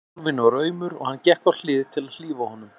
Kálfinn var aumur og hann gekk á hlið til að hlífa honum.